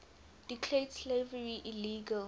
declared slavery illegal